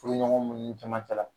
Furuɲɔgɔn minnu caman cɛla